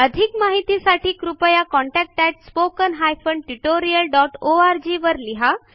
अधिक माहितीसाठी कृपया contactspoken tutorialorg वर लिहा